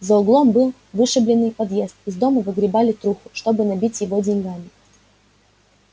за углом был вышебленный подъезд из дома выгребали труху чтобы набить его деньгами